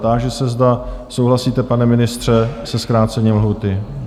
Táži se, zda souhlasíte, pane ministře, se zkrácením lhůty?